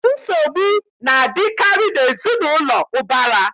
Nsogbu na-adịkarị n'ezinaụlọ ụbara.